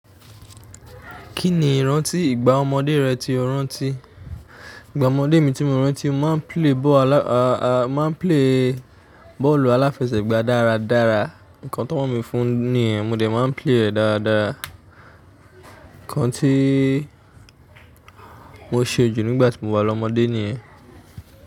Kí ni ìrántí ìgbà ọmọdé rẹ tí o rántí? Ìgbà ọmọdé mi tí mo rántí, mo máa ń play bọ́ọ̀lù aláfẹsẹ̀gbà dáradára. Ǹkan t'ọn mọ̀ mi fún nìyen, mo dẹ̀ máa ń play ẹ̀ dáradára. Ǹkan tí mo ṣe jù nígbà tí mo wà lọ́mọdé ni ẹ̀